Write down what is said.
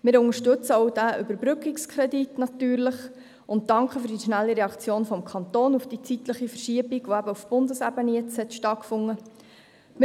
Wir unterstützen natürlich auch diesen Überbrückungskredit und danken für die schnelle Reaktion des Kantons auf die zeitliche Verschiebung, welche auf Bundesebene stattgefunden hat.